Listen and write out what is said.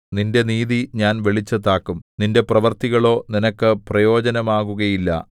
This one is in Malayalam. നിന്റെ നീതി ഞാൻ വെളിച്ചത്താക്കും നിന്റെ പ്രവൃത്തികളോ നിനക്ക് പ്രയോജനമാകുകയില്ല